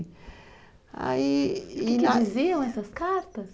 Aí, o que diziam essas cartas?